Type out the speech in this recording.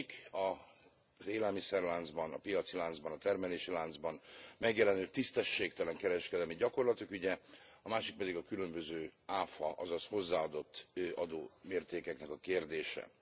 Az egyik az élelmiszerláncban, a piaci láncban, a termelési láncban megjelenő tisztességtelen kereskedelmi gyakorlatok ügye, a másik pedig a különböző áfa, azaz hozzáadott adó mértékeknek a kérdése.